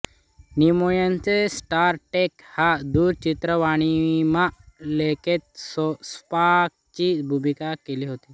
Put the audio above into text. निमॉयने Star Trek या दूरचित्रवाणीमालिकेत स्पॉकची भूमिका केली होती